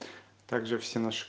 также все наши